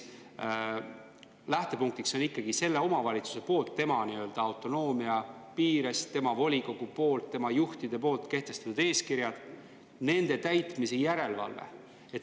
Lähtepunktiks on ikkagi omavalitsuse poolt tema autonoomia piires, tema volikogu poolt, tema juhtide poolt kehtestatud eeskirjad ja nende täitmise järelevalve.